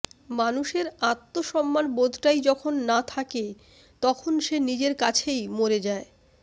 মানুষের আত্মসম্মানবোধটাই যখন না থাকে তখন সে নিজের কাছেই মরে যায়